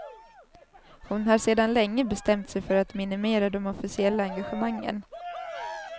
Hon har sedan länge bestämt sig för att minimera de officiella engagemangen.